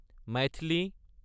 Maithili